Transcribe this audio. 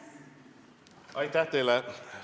Aitäh teile!